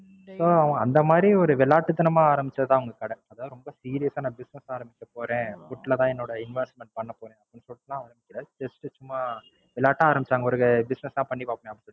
So அந்த மாதிரி ஒரு விளையாட்டுத்தனமா ஆரம்பிச்சதுதான் அவுங்க கடை. அதாவது ரொம்ப Serious ஆ நான் Business ஆரம்பிக்க போறேன் Food ல தான் என்னோட Investment பண்ண போறேன்னு சொல்லிலாம் ஆரம்பிக்கல. Just சும்மா விளையாட்டா ஆரம்பிச்சாங்க ஒரு Business ஆ பண்ணிப்பாப்போமே அப்படின்னு.